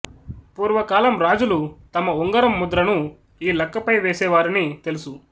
పూర్వ కాలం రాజులు తమ ఉంగరం ముద్రను ఈ లక్కపై వేసే వారని తెలుసు